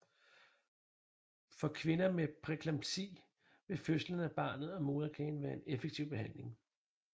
For kvinder med præeklampsi vil fødslen af barnet og moderkagen være en effektiv behandling